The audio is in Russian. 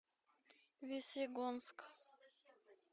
весьегонск